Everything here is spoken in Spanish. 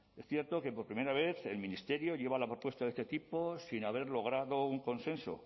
es cierto que por primera vez el ministerio lleva la propuesta de este tipo sin haber logrado un consenso